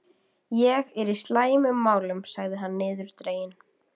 Ég er í slæmum málum sagði hann niðurdreginn.